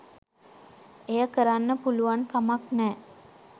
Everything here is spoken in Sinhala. එය කරන්න පුළුවන්කමක් නෑ.